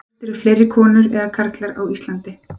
hvort eru fleiri konur eða karlar á íslandi